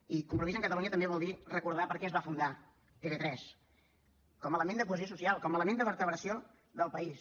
i compromís amb catalunya també vol dir recordar per què es va fundar tv3 com a element de cohesió social com a element de vertebració del país